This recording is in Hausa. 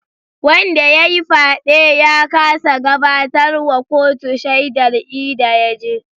Wanda yayi fyaɗe ya kasa gabatar wa kuto shaidar ida yaje.